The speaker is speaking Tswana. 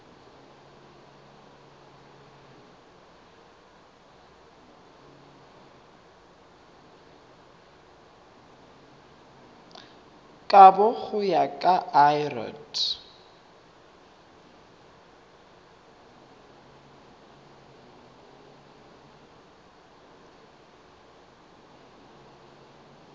kabo go ya ka lrad